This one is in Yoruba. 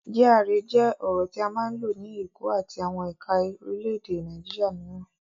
GRA jẹ́ ọ̀rọ̀ tí a máa ń lò ní Èkó àti àwọn ẹ̀ka orílẹ̀-èdè Nàìjíríà mìíràn.